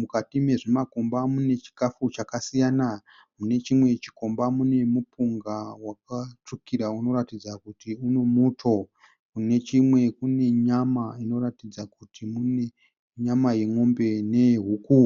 Mukati mezvimakomba mune chikafu chakasiyana . Munechimwe chikomba mune mupunga wakatsvukira unoratidza kuti mune muto. Mune chimwe kune nyama inoratidza kuti mune nyama yemombe neyehuku.